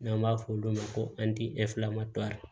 N'an b'a fɔ olu ma ko